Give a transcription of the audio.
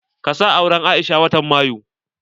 Ka sa auren Aisha watan mayu!